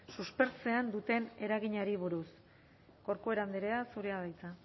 suspertzean duten eraginari buruz corcuera andrea zurea da hitza